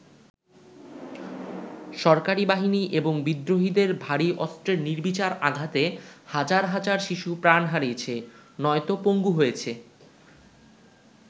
সরকারি বাহিনী এবং বিদ্রোহীদের ভারী অস্ত্রের নির্বিচার আঘাতে হাজার হাজার শিশু প্রাণ হারিয়েছে, নয়তো পঙ্গু হয়েছে।